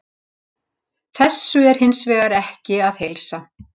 Þessu er hins vegar ekki að heilsa.